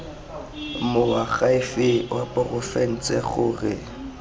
moakhaefe wa porofense gore go